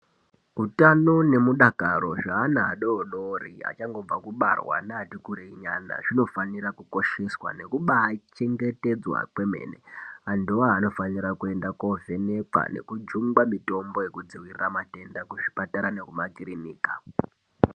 Utano nemudakaro zveana adodori achangobva kubarwa neati kurei nyana, zvinofanira kubaachengetedzwa kwemene. Antuwo anofanira kuenda koovhenekwa, nekujungwa mitombo yekudziirira zvitenda, kuzvipatara nemumakirinika.